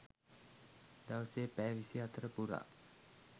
දවසේ පැය විසිහතර පුරා